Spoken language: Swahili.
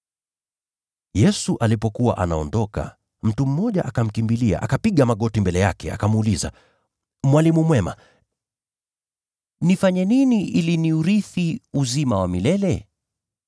Yesu alipokuwa anaondoka, mtu mmoja akamkimbilia, akapiga magoti mbele yake, akamuuliza, “Mwalimu mwema, nifanye nini ili niurithi uzima wa milele?”